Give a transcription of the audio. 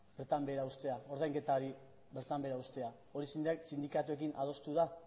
bertan behera uztea ordainketa hori bertan behera uztea hori sindikatuekin adostu da